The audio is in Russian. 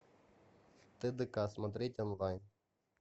тдк смотреть онлайн